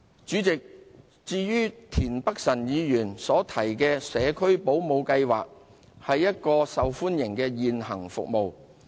主席，至於田北辰議員提及的社區保姆計劃，它是一項受歡迎的現行服務。